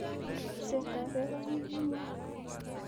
riipseetap peek ak ng'ung'unyek